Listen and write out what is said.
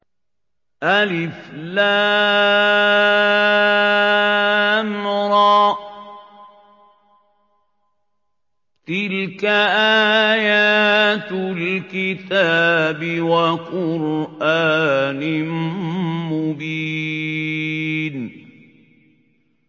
الر ۚ تِلْكَ آيَاتُ الْكِتَابِ وَقُرْآنٍ مُّبِينٍ